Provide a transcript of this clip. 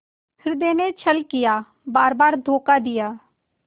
हृदय ने छल किया बारबार धोखा दिया